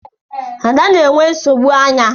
Ada na-enwe nsogbu anya.